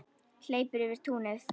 Hleypur yfir túnið.